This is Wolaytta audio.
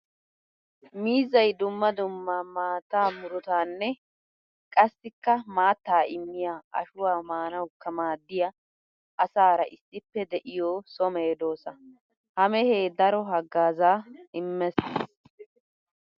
Miizzay dumma dumma maattaa muruttanne qassikka maatta immiya ashuwa maanawukka maadiya asaara issippe de'iya so medosa. Ha mehee daro hagaaza immees.